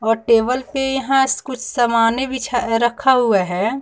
और टेबल पर यहां कुछ सामान्य रखा हुआ है।